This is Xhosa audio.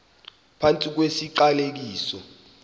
phantsi kwesi siqalekiso